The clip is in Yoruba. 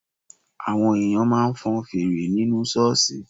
Àwọn èèyàn máa ń fọn fèrè nínú ṣọ́ọ̀ṣì